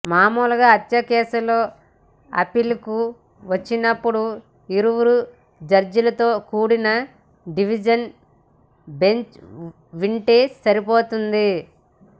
మామూలుగా హత్యకేసులో అప్పీలుకు వచ్చినపుడు యిద్దరు జడ్జిలతో కూడిన డివిజన్ బెంచ్ వింటే సరిపోతుంది